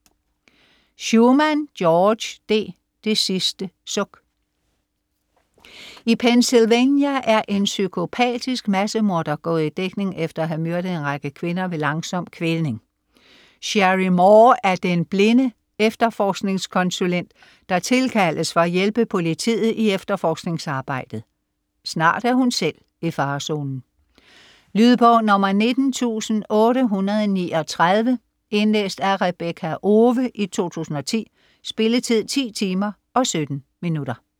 Shuman, George D.: Det sidste suk I Pennsylvania er en psykopatisk massemorder gået i dækning efter at have myrdet en række kvinder ved langsom kvælning. Sherry Moore er den blinde efterforskningskonsulent, der tilkaldes for at hjælpe politiet i efterforskningsarbejdet. Snart er hun selv i farezonen. Lydbog 19839 Indlæst af Rebekka Owe, 2010. Spilletid: 10 timer, 17 minutter.